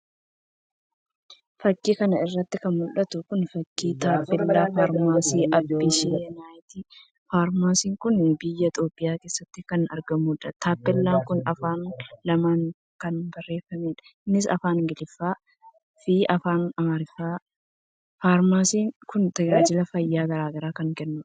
Fakii kana irratti kan mul'atu kun fakii tampellaa Faarmaasii Abisiiyinaati. Farmaasii kun biyya Itoophiyaa keessatti kan argamudha. Tampeellaan kun afaan lamaan kan barreeffamedha, innis Afaan Ingiliffaa fi Afaan Amaariffaatiini. Faarmaasiin kun tajaajila fayyaa garagaraa kan kennudha.